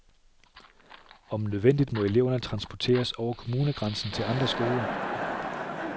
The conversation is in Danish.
Om nødvendigt må eleverne transporteres over kommunegrænsen til andre skoler.